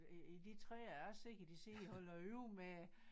I i de træer jeg ser at de sidder og holder øje med